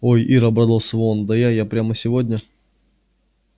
ой ир обрадовался он да я да я прямо сегодня